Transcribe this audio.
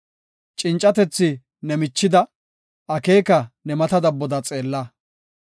Cincatethi ne michida, akeeka ne mata dabboda xeella.